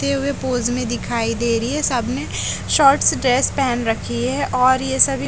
ते हुए पोज में दिखाई दे रही है सबने शॉर्ट्स ड्रेस पहन रखी है और ये सभी--